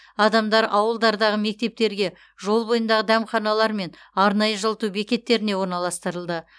адамдар ауылдардағы мектептерге жол бойындағы дәмханалар мен арнайы жылыту бекеттеріне орналастырылды